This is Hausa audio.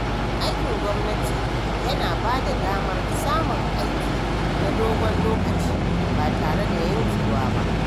Aikin gwamnati yana bada damar samun aiki na dogon lokaci ba tare da yankewa ba.